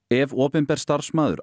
ef opinber starfsmaður